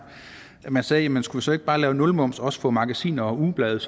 at man sagde jamen skulle vi så ikke bare lave nulmoms også på magasiner og ugeblade